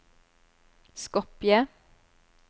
Skopje